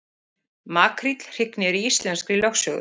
Makríll hrygnir í íslenskri lögsögu